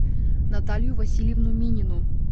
наталью васильевну минину